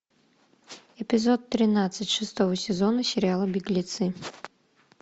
эпизод тринадцать шестого сезона сериала беглецы